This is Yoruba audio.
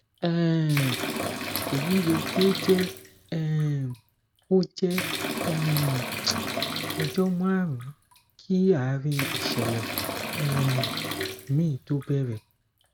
um èyí yẹ kí ó jẹ um ó jẹ um ọjọ márùn ún kí àárín ìṣẹlẹ um mi tó bẹrẹ